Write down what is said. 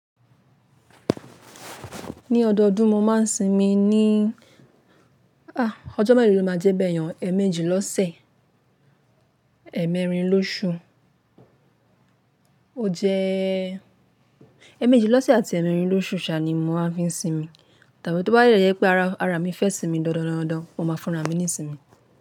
Ní ọdọọdún mo máa ń sinmi ní, ọjọ́ mẹ́lo ló máa jẹ́ bẹ́yen o, eẹ̀méjì lọ́sẹ̀, ẹ́ẹ̀mẹ́rin lóṣù. O jẹ́ ẹ̀méjì lọ́sẹ̀ àti ẹ́ẹ̀mẹ́rin lóṣù saa ni mo máa fi ń sinmi. Tàbí tó bá dẹ pé ara ara mi fẹ́ sinmi dandan dandan, mo máa fúnra mi ní sinmi.